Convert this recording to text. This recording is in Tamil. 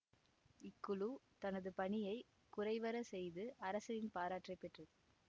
இக்குழு தனது பணியை குறைவற செய்து அரசனின் பாராட்டை பெற்றது